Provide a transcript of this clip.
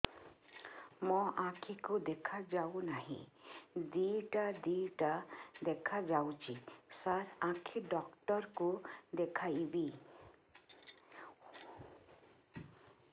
ମୋ ଆଖିକୁ ଦେଖା ଯାଉ ନାହିଁ ଦିଇଟା ଦିଇଟା ଦେଖା ଯାଉଛି ସାର୍ ଆଖି ଡକ୍ଟର କୁ ଦେଖାଇବି